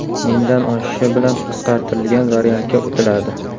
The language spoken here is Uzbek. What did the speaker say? Mingdan oshishi bilan qisqartirilgan variantga o‘tiladi.